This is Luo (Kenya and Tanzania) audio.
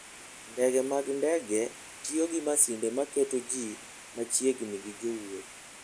Ndege mag ndege tiyo gi masinde maketo ji machiegni gi jowuoth.